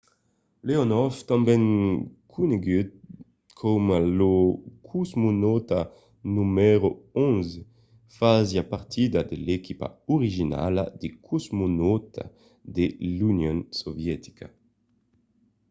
leonòv tanben conegut coma lo cosmonauta no. 11 fasiá partida de l'equipa originala de cosmonautas de l'union sovietica